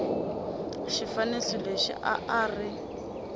xifaniso lexi a a ri